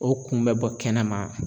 O kun bɛ bɔ kɛnɛma